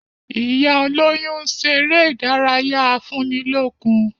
Ìyá olóyún ń ṣeré ìdárayá afúnilókun